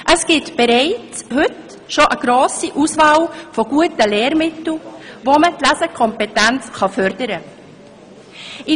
Es gibt bereits heute eine grosse Auswahl an guten Lehrmitteln, mit denen man die Lesekompetenz fördern kann.